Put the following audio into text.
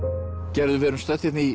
gerður við erum stödd hérna í